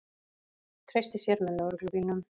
Treysti sér með lögreglubílnum